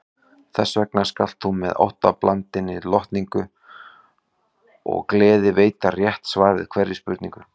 Þessvegna skalt þú með óttablandinni lotningu og gleði veita rétt svar við hverri spurningu.